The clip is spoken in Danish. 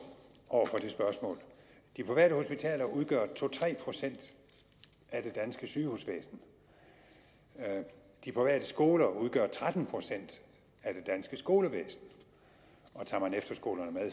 over for det spørgsmål de private hospitaler udgør to tre procent af det danske sygehusvæsen de private skoler udgør tretten procent af det danske skolevæsen og tager man efterskolerne med er